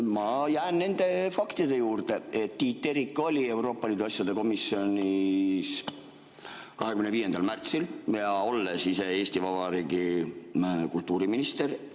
Ma jään nende faktide juurde, et Tiit Terik oli Euroopa Liidu asjade komisjonis 25. märtsil, olles Eesti Vabariigi kultuuriminister.